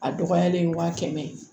A dɔgɔyalen wa kɛmɛ ye